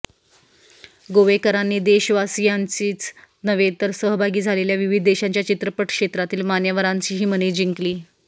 गोवेकरांनी देशवासियांचीच नव्हे तर सहभागी झालेल्या विविध देशांच्या चित्रपटक्षेत्रांतील मान्यवरांचीही मने जिंकली